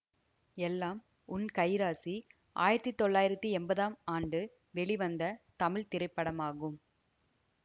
எல்லாம் உன் கைராசி ஆயிரத்தி தொள்ளாயிரத்தி எம்பதாம் ஆண்டு வெளிவந்த தமிழ் திரைப்படமாகும்